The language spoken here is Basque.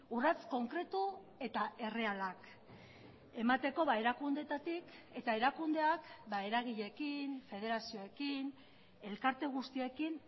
urrats konkretu eta errealak emateko erakundeetatik eta erakundeak eragileekin federazioekin elkarte guztiekin